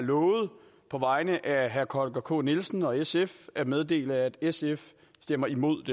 på vegne af herre holger k nielsen og sf at meddele at sf stemmer imod